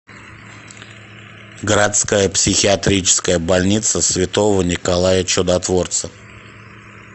городская психиатрическая больница святого николая чудотворца